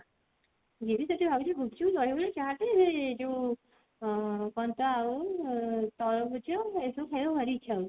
GB ସେଠି ଭାବିଛି ଗୁପଚୁପ୍ ଖାଇବି ଚାଟ ଯଉ ଅ କଣ ତ ଆଉ ତରଭୁଜ ଏଇ ସବୁ ଖାଇବାକୁ ଭାରି ଇଛା ହଉଛି